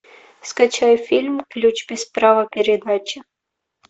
скачай фильм ключ без права передачи